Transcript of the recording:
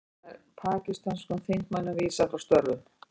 Pakistönskum þingmönnum vísað frá störfum